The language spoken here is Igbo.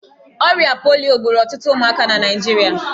Ọrịa polio gburu ọtụtụ ụmụaka na Naịjirịa.